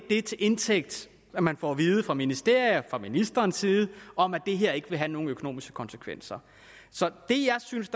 det til indtægt som man får at vide fra ministeriet og fra ministerens side om at det her ikke vil have nogen økonomiske konsekvenser så det jeg synes